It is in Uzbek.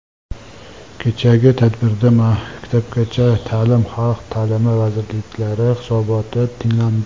Kechagi tadbirda Maktabgacha ta’lim, Xalq ta’limi vazirliklari hisoboti tinglandi.